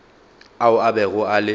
ao a bego a le